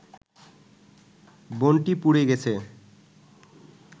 বনটি পুড়ে গেছে